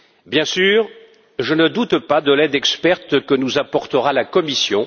Bien sûr, je ne doute pas de l'aide experte que nous apportera la Commission.